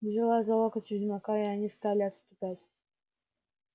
взяла за локоть ведьмака и они стали отступать